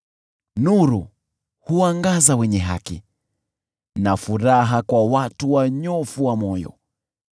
Nuru huangaza wenye haki na furaha kwa watu wanyofu wa moyo.